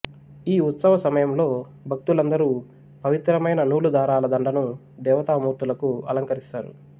ఈ ఉత్సవ సమయంలో భక్తులందరూ పవిత్రమైన నూలు దారాల దండను దేవతామూర్తులకూ అలంకరిస్తారు